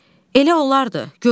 Elə olardı.